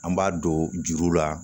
An b'a don juru la